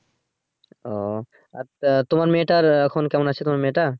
ও আচ্ছা তোমার মেয়েটার আহ এখন কেমন আছে তোমার মেয়েটা।